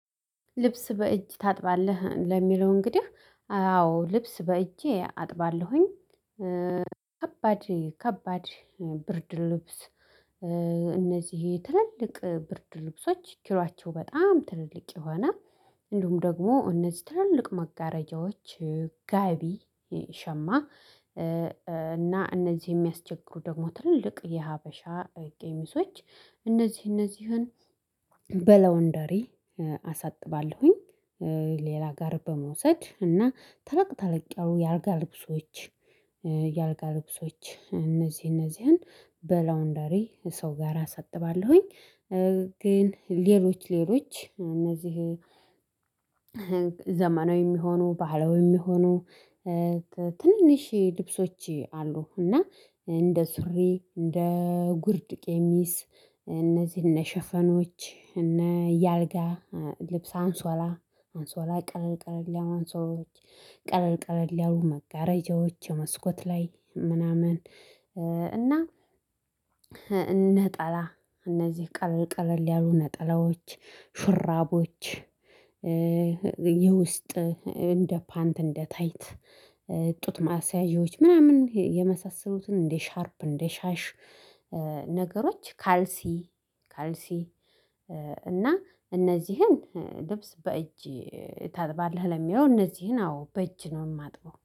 ልብስ በእጅ ታጥባለህ ለሚለው እንግዲህ አዎ ልብስ በእጄ አጥባለሁኝ። ከባድ ብርድ ልብስ እነዚህ ትልልቅ ብርድ ልብሶች ኪሏቸው በጣም ትልልቅ የሆነ እንዲሁም ደግሞ እነዚህ ትልልቅ መጋረጃዎች ጋቢ ሸማ እና እነዚህ የሚያስቸግሩ ደግሞ ትልልቅ የሀበሻ ቀሚሶች እነዚህ እነዚህን በላዉንደሪ አሳጥባለሁኝ። ሌላ ጋር በመውሰድ እና ተለቅ ተለቅ ያሉ የ አልጋ ልብሶች የ አልጋ ልብሶች እነዚህ እነዚህን በላውንደሪ ሰው ጋራ አሳጥባለሁኝ። ግን ሌሎች ሌሎች እነዚህ ዘመናዊም የሆኑ ባህላዊም የሆኑ ትንንሽ ልብሶች አሉ። እና እንደ ሱሪ እንደ ጉርድ ቀሚስ እነዚህ እነ ሸፎኖች እነ የአልጋ ልብስ አንሶላ አንሶላ ቀለል ቀለል ያሉ አንሶላዎችህ ቀለል ቀለል ያሉ መጋረጃዎች መስኮት ላይ ምናምን እና ነጠላ እነዚህ ቀለል ቀለል ያሉ ነጠላዎች ሹራቦች። የውስጥ እንደ ፓንት እንደ እንደ ታይት ጡት ማስያዣዎች ምናምን የመሳሰሉትን እንደ ሻርፕ እንደ ሻሽ ነገሮች ካልሲ ካልሲ እና እነዚህን ልብስ በእጅ ታጥባለህ ለሚሆን እነዚህን አዎ በእጅ ነው የማጥበው።